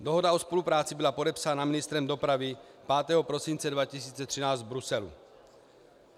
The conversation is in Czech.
Dohoda o spolupráci byla podepsána ministrem dopravy 5. prosince 2013 v Bruselu.